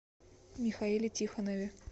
михаиле тихонове